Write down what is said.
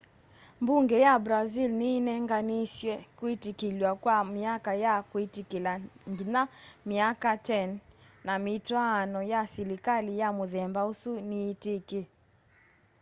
mbunge ya brazil ni ineenaniisye kwitikilw'a kwa myaka ya kwitikila nginya myaka 10 na mitwaano ya silikali ya muthemba usu niyitiki